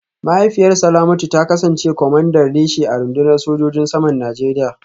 Mahaifiyar Salamatu ta kasance kwamandan reshe a rundunar sojojin saman Najeriya